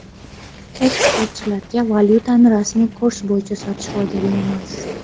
Eksportchilarga valyutani rasmiy kurs bo‘yicha sotish foydali emas.